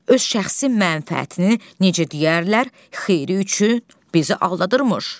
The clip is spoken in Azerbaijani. Öz şəxsi mənfəətini, necə deyərlər, xeyri üçün bizi aldadırmış,